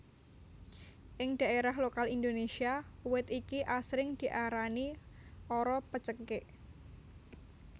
Ing daerah lokal Indonesia uwit iki asring diarani ara pencekik